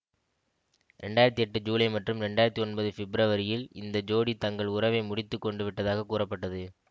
இரண்டு ஆயிரத்தி எட்டு ஜுலை மற்றும் இரண்டு ஆயிரத்தி ஒன்பது ஃபிப்ரவரியில் இந்த ஜோடி தங்கள் உறவை முடித்து கொண்டு விட்டதாக கூறப்பட்டது